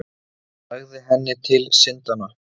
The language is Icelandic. Sagði henni til syndanna.